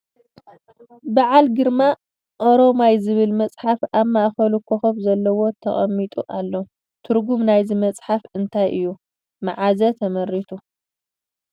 በዓል ግርማ ኦሮማይ ዝብል መፅሓፍ ኣብ ማእከሉ ኮኮብ ዘለዎ ተቀሚጡ ኣሎ ። ትርጉም ናይዚ መፅሓፍ እንታይ እዩ መዓዘ ተመሪቱ ?